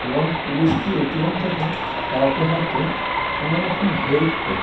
এবং পুলিশটি এ.টি.এম থেকে কাউকে হয়তো কোনো রকম হেল্প কর--